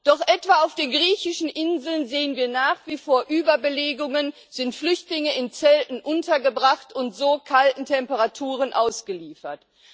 Doch etwa auf den griechischen Inseln sehen wir nach wie vor Überbelegungen, sind Flüchtlinge in Zelten untergebracht und so kalten Temperaturen ausgeliefert.